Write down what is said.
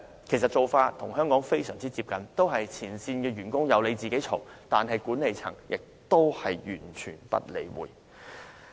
其做法與香港非常接近，都是只有前線員工投訴，管理層同樣完全不理會。